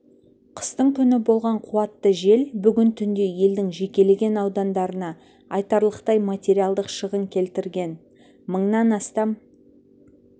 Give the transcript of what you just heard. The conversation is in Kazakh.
қыстың күні болған қуатты жел бүгін түнде елдің жекелеген аудандарына айтарлықтай материалдық шығын келтірген мыңнан астам